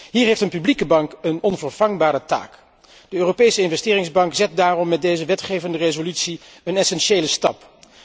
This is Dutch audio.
Hier heeft een publieke bank een onvervangbare taak. De Europese Investeringsbank zet daarom met deze wetgevingsresolutie een essentiële stap.